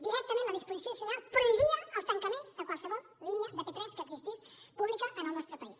directament la disposició addicional prohibia el tancament de qualsevol línia de p3 que existís pública en el nostre país